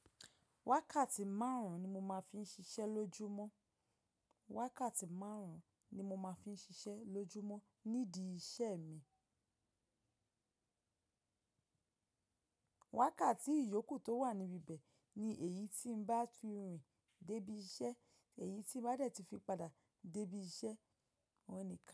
Wákàtí márùn-ún ni mo máa fin ń ṣiṣẹ́ lójúmọ́. Wákàtí márùn-ún ni mo máa fi ń ṣiṣẹ́ lójúmọ́ nídìí iṣẹ́ mi. Wákàtí ìyókù tó wà níbi ibẹ̀ ni èyí tí ń bá fi rìn dé ibi iṣẹ́, èyí tí ń bá dẹ̀ ti fi padà dé ibi iṣẹ́, wọ́n nìkan.